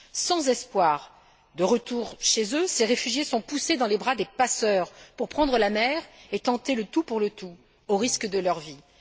Sans espoir de retour chez eux, ces réfugiés sont poussés dans les bras des passeurs pour prendre la mer et tenter le tout pour le tout, au risque de leur vie!